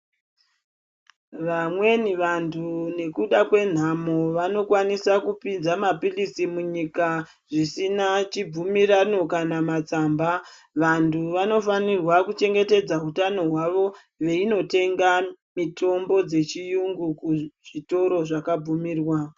Vamweni vantu nekuda kwenhamo wanokwanisa kupinza mapirizi munyika zvisina chibvumirano kana matsamba. Vantu vanofanirwa kuchengetedza utano hwavo weinotenga mitombo dzechiyungu kuzvitoro zvakabvumirwa.